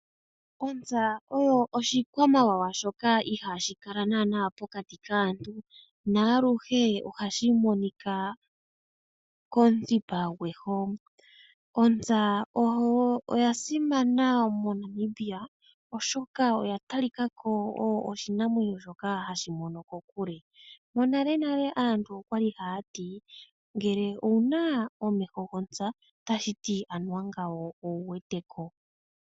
Ontsa oyo oshikwamawawa shoka iihashi kala naana pokati kaantu naaluhe ohashi monika komuthipa gweho . Ontsa oya simana moNamibia, oshoka oya talika ko oyo oshinamwenyo shoka hashi mono kokule . Monalenale aantu okwali haya ti ngele owuna omeho gwontsa otashiti anuwa ngawo owuwete ko.